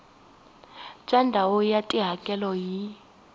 bya ndhawu ya tihakelo hi